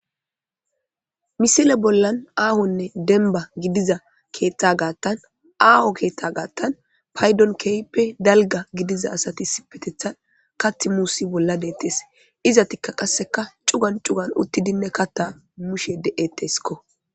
Misile bollan aahonne denba gidiza keeththa gaattan aaho keeththa gaattan paydon keehppe dalga gidiza asati sipetetha kath muusi bolla deettees iza tikka qasseka cugan cugan uttidinne katta mushe de7etteskko.